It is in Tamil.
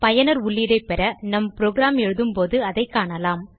பயனர் உள்ளீடை பெற நம் புரோகிராம் எழுதும் போது அதை காணலாம்